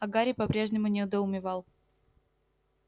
а гарри по-прежнему недоумевал